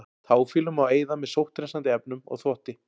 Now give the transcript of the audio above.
Táfýlu má eyða með sótthreinsandi efnum og þvotti.